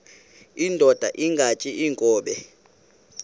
indod ingaty iinkobe